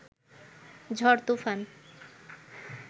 ঝড় তুফান